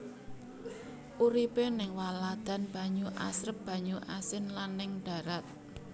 Uripé ning waladan banyu asrep banyu asin lan ning darat